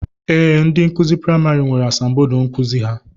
Ee, ndị nkụzi praịmarị nwere asambodo nkụzi ha